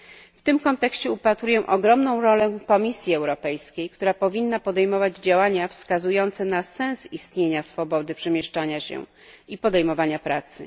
W tym kontekście upatruję ogromną rolę Komisji Europejskiej, która powinna podejmować działania wskazujące na sens istnienia swobody przemieszczania się i podejmowania pracy.